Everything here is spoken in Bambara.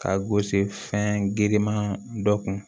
Ka gosi fɛn girinman dɔ kun